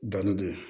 Dɔnni don